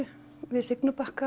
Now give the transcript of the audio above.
við